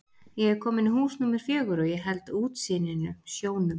Ég er kominn í hús númer fjögur og ég held útsýninu, sjónum.